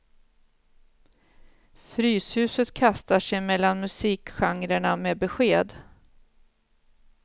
Fryshuset kastar sig mellan musikgenrerna med besked.